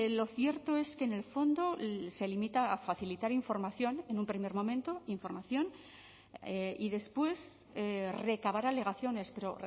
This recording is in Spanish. lo cierto es que en el fondo se limita a facilitar información en un primer momento información y después recabar alegaciones pero